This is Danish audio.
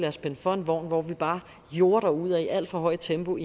os spænde for en vogn hvor vi bare jorder derudad i et alt for højt tempo og